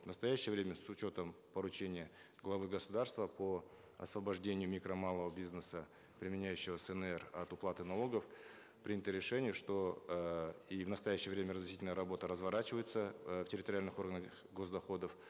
в настоящее время с учетом поручения главы государства по освобождению микро малого бизнеса применяющего снр от уплаты налогов принято решение что э и в настоящее время разъяснительная работа разворачивается э в территориальных органах гос доходов